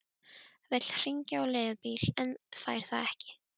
Vill hringja á leigubíl en fær það ekki.